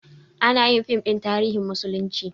Anayin fim ɗin tarihin musulunci